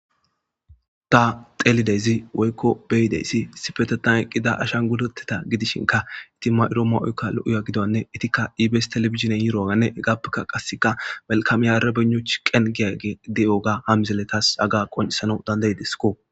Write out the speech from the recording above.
ta xelidezi woykko beyideesi sifetetan eqqida ashan gudoteta gidishinka iti mayro ma7oykka lo7uya gidoanne itikka ibes telefizinen yiroaganne egappeka qasseka malkamiyarabeno chi qen geyage de7oga hamzeletas aga qonisana dandaydesko